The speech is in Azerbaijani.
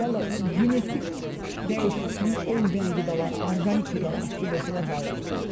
Vallah, genetik dəyişimi olmayan qidalara, orqanik qidalara fikir versələr daha yaxşı olar.